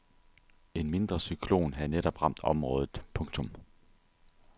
En mindre cyklon havde netop ramt området. punktum